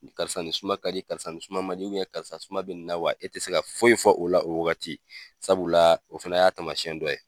Karisa nin suma ka di karisa nin suma man di karisa suma bɛ nin na wa e tɛ se ka foyi fɔ o la o wagati sabula o fana y'a taamasiyɛn dɔ ye.